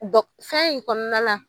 fɛn in kɔnɔna na